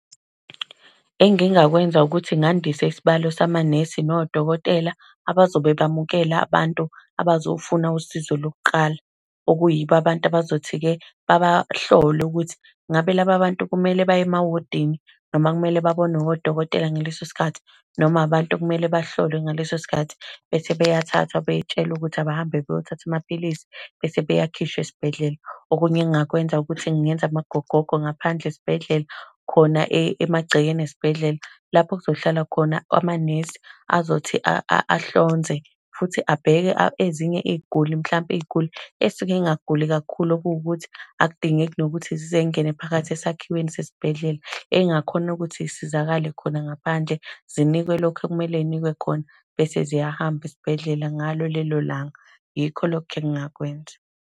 Engingakwenza ukuthi ngandise isibalo samanesi nodokotela, abazobe bamukela abantu abazofuna usizo lokuqala. Okuyibo abantu abazothi-ke, babahlole ukuthi, ngabe laba bantu kumele baye emawodini, noma kumele babonwe odokotela ngaleso sikhathi. Noma abantu okumele bahlolwe ngaleso sikhathi bese beyathathwa, betshelwe ukuthi abahambe beyothatha amaphilisi bese bayakhishwa esibhedlela. Okunye engingakwenza ukuthi ngingenza amagogogo ngaphandle esibhedlela, khona emagcekeni esibhedlela, lapho okuzohlala khona amanesi, azothi ahlonze, futhi abheke ezinye iy'guli, mhlampe iy'guli ey'suke zingaguli kakhulu. Okuwukuthi akudingeki nokuthi zize zingene phakathi esakhiweni sesibhedlela. Ey'ngakhona ukuthi zisizakale khona ngaphandle, zinikwe lokho ekumele zinikwe khona, bese ziyahamba esibhedlela ngalo lelo langa. Yikho lokho engingakwenza.